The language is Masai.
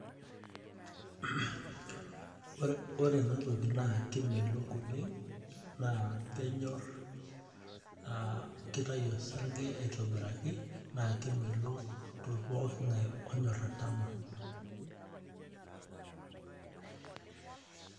Ore enatoki naa kemelok oleng' naa kenyor aah kitayu osarge aitobiraki naa kemelok tokitin pooki oltung'ani onyor atama.